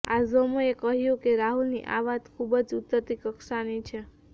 આઝમે કહ્યુ કે રાહુલની આ વાત ખૂબ જ ઉતરતી કક્ષાની છે